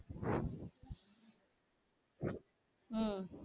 உம்